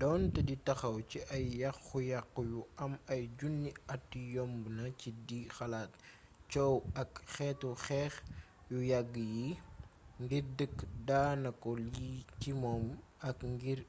donté di taxaw ci ay yaxu yaxu yu am ay junni atyombna ci di xalaat coow ak xétu xéx yu yagg yi ngir dégg daanako lii ci moom ak ngir